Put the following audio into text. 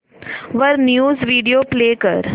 वर news video play कर